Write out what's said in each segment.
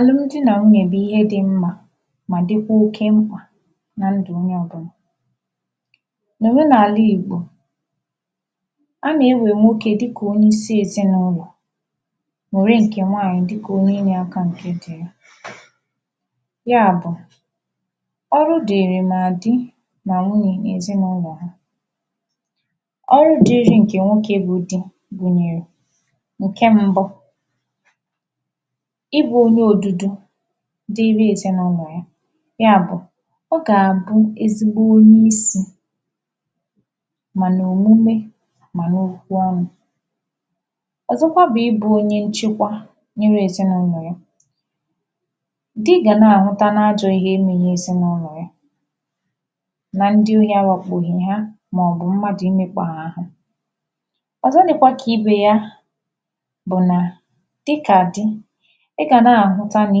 Àlụm di nà nwunyè bụ̀ ihe dị mmā mà dị̀kwa oke mkpà na ndụ̀ onye ̣ọbụlà nà òmenala Ìgbò a nà-ewè nwokē dịkà onyeisi ezinàụlọ̀ wère ṅkè nwaànyị̀ di̩kà onye inyē ākā ya bụ̀ ọrụ dìịrị nà di nà nwunyè n’èzinàụlọ ha ọrụ dị̄ị̄rị̄ ṅ̀kè nwokē bụ̄ dī gụ̀nyèrè ṅ̀ke m̄bụ̄ ịbụ̄ onye odudu dịịrị ezinàụnọ̀ ya ya bụ̀ ọ gà àbụ ezigbo onye isi mà nà òmume mà n’okwu ọnụ̄ ọ̀zọkwa bụ̀ ịbụ̄ onye nchekwa nyere èzinàụlọ̀ ya di gà na-àhụta n’ajọ̄ ihe me n’ezinàụlọ yā nà ndị ohi awākpòhì ha màọ̀bụ̀ mmadụ̀ imēkpà ha àhụ ọ̀zọ dị̄kwā kà ibè ya bụ̀ nà dị kà di ị gà na-àhụta nà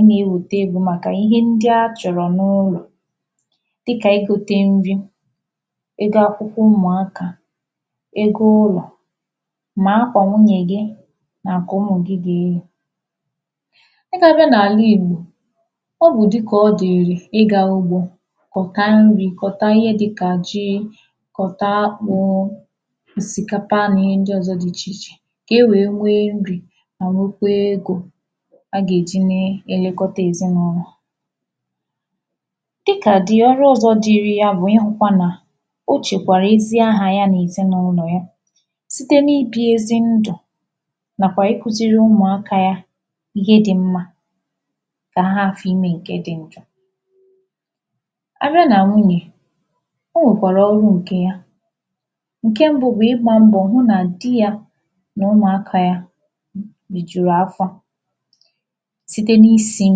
ị nà-ewèta egō màkà ihe ndị a chọ̀rọ̀ n’ụlọ̀ dịkà igōtē nri ego akwụkwọ ụmụ̀akā ego ụlọ̀ nà akwà nwunye gị nà ṅ̀kè ụmụ̀ gị gà-eyì a ga abiạ n’àla Ìgbò ọ bụ̀ di kà ọ dị̀ị̀rị̀ ịgā ugbō kọ̀ta nrī kọ̀ta ihe dị̄ kà ji kọ̀ta akpụ̄ òsìkàpà nà ihe ndị ọ̀zọ dị ichè ichè kà e wèe nrī mà nwekwaa egō a gà-èji na-èlekọta ezinàụlò dị kà di ọrụ ọ̄zọ̄ dịrị ya bụ ịhụkwa nà o chèkwàrà ezi ahà ya nà èzinàụlọ yā site n’ibī ezi ndụ̀ nàkwà ikūzīrī ụmụ̀akā yā ihe dị̄ mmā kà ha hafụ imē ṅ̀ke dị̄ njọ a bịa nà nwunyè o nwèkwàrà ọrụ ṅ̀ke ya ṅ̀ke mbụ̄ bụ̀ ̣ịgba mbọ̀ hụ nà di yā nà ụmụ̀akā yā rìjùrù afọ site n’isī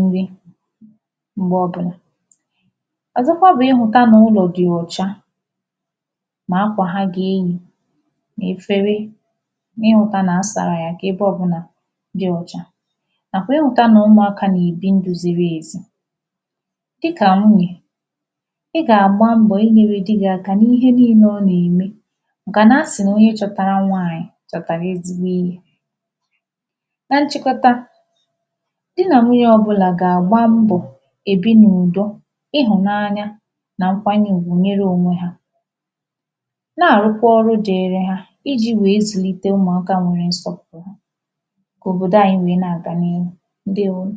nri m̀gbe ọbụ̄nà ọzọkwa bụ ị hụta nà ulọ dị ọ̀cha mà akwà ha gà-eyì nà efere nà ịhụ̄kwā nà a sàrà yà kà ebe ọbụ̄là dị ọcha nàkwà ịhụ̄tā nà ụmụ̀akā nà-èbi ndụ̄ ziri èzi dịkà nwunyè ị gà-àgba m̀bọ inyērē di gị̄ aka n’ihe niilē ọ nà-ème màkà nà a sị̀ nà onye chọ̄tārā nwaànyị̀ chọ̀tàrà ezigbo ihē na nchịkọta di nà nwunyē ọbụ̄la gà-àgba mbọ èbi n’ùdo ịhụ̀nanya nà ṅkwanye ùgwù nyere onwē hā na-àrụkwa ọrụ dị̄ị̄rị̄ hā̄ ijī wèe zụ̀lite ụmụ̀akā nwere nsọpụ̀rụ kà òbòdo anyị wèe na-àga n’ihu ǹdeèwonụ̀